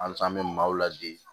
Halisa an be maaw ladege